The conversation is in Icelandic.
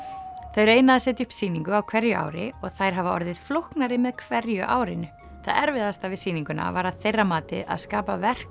þau reyna að setja upp sýningu á hverju ári og þær hafa orðið flóknari með hverju árinu það erfiðasta við sýninguna var að þeirra mati að skapa verk